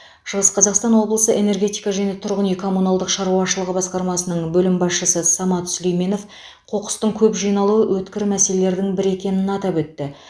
шығыс қазақстан облысы энергетика және тұрғын үй коммуналдық шаруашылығы басқармасының бөлім басшысы самат сүлейменов қоқыстың көп жиналуы өткір мәселелердің бірі екенін атап өтті